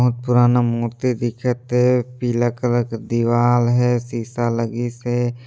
बहुत पुराना मूर्ति दिखत हे पीला कलर का दीवाल है सीसा लगीसे।